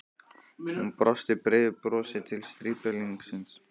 Hún brosti breiðu brosi til strípalingsins.